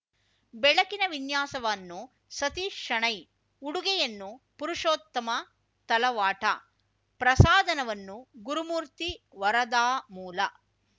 ಬೆಳಕಿನ ವಿನ್ಯಾಸವನ್ನು ಸತೀಶ್‌ ಶೆಣೈ ಉಡುಗೆಯನ್ನು ಪುರುಷೋತ್ತಮ ತಲವಾಟ ಪ್ರಸಾದನವನ್ನು ಗುರುಮೂರ್ತಿ ವರದಾಮೂಲ